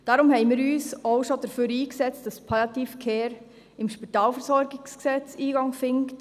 Deshalb setzten wir uns auch schon dafür ein, dass die Palliative Care im Spitalversorgungsgesetz (SpVG) Eingang findet.